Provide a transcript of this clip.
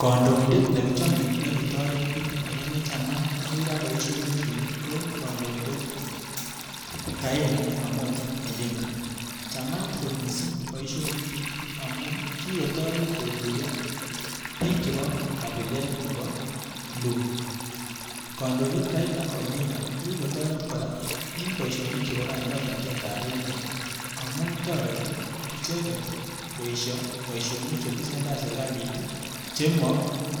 Kandoindet nekichome nekitoret biik akonechamat boisionikyik akoira ko Raila Amolo odinga, chamat kot missing boisionikyik amun kikotoret kotuiyo biik chepo kabilet nepo luo. Kandoindet Raila Amolo odinga kokikotoret kora en boisionik chepo kandoinatetab emet amun toreti icheket ii koesio boisionik chetesen tai serikalit chemo